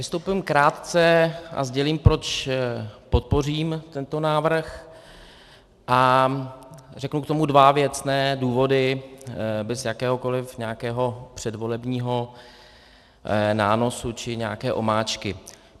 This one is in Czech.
Vystoupím krátce a sdělím, proč podpořím tento návrh, a řeknu k tomu dva věcné důvody bez jakéhokoliv nějakého předvolebního nánosu či nějaké omáčky.